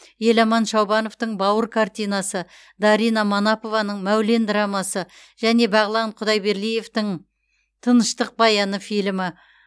еламан шаубановтың бауыр картинасы дарина манапованың мәулен драмасы және бағлан құдайберлиевтің тыныштық баяны фильмі